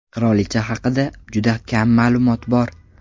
Qirolicha haqida juda kam ma’lumot bor.